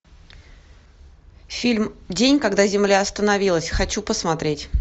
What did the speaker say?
фильм день когда земля остановилась хочу посмотреть